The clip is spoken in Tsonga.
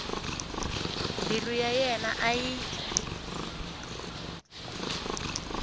mbilu ya yena a yi